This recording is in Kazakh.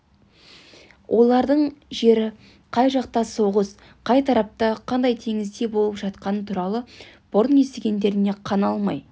олардың жері қай жақта соғыс қай тарапта қандай теңізде болып жатқаны туралы бұрын естігендеріне қана алмай